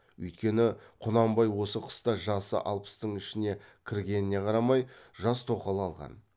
үйткені құнанбай осы қыста жасы алпыстың ішіне кіргеніне қарамай жас тоқал алған